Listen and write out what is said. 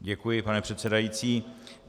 Děkuji, pane předsedající.